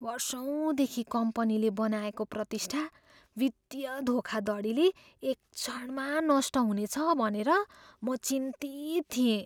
वर्षौँदेखि कम्पनीले बनाएको प्रतिष्ठा वित्तीय धोखाधडीले एक क्षणमा नष्ट हुनेछ भनेर म चिन्तित थिएँ।